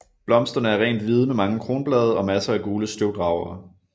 Blomsterne er rent hvide med mange kronblade og masser af gule støvdragere